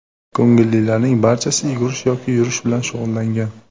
Ko‘ngillilarning barchasi yugurish yoki yurish bilan shug‘ullangan.